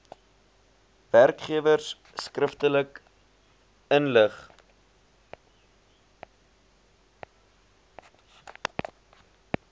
werkgewers skriftelik inlig